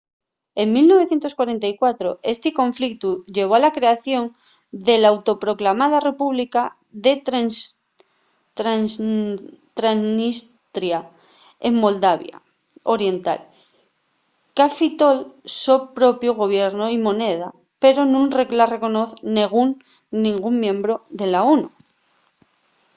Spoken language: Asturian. en 1944 esti conflictu llevó a la creación de l’auto-proclamada república de transnistria en moldavia oriental qu’afitó’l so propiu gobiernu y moneda pero nun la reconoz nengún miembru de la onu